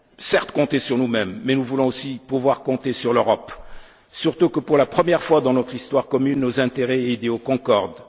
devons certes compter sur nous mêmes, mais nous voulons aussi pouvoir compter sur l'Europe, surtout que pour la première fois dans notre histoire commune, nos intérêts et idéaux concordent.